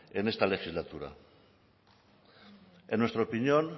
en esta legislatura en nuestra opinión